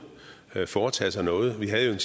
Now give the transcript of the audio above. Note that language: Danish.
foretage sig noget vi havde